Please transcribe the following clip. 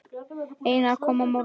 Einar kom að mörgu.